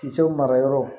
Kisɛw mara yɔrɔ